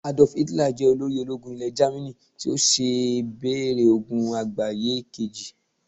Adolf Hitler jẹ olórí ológun Ile jamini, ti o sí bèrè ogun àgbáyé Kejì